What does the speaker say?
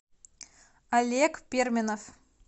олег перминов